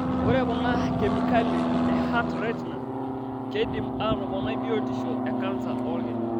Ore kuna kemikali e HRT/Rtnaa keidim aatoponai batisho e kansa oolki.